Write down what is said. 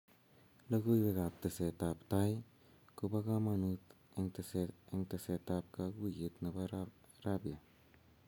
Logoiywek ak tesetab tai ko bo kamanut eng tesetab kaguyet nebo rabia